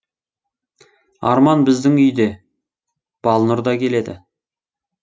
арман біздің үйде балнұр да келеді